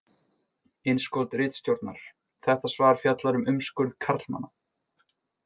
Innskot ritstjórnar: Þetta svar fjallar um umskurð karlmanna.